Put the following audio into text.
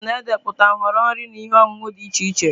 Menụ na-ede pụta nhọrọ nri na ihe ọṅụṅụ dị iche Che.